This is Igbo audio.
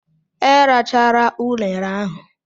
Erachala unere ahụ!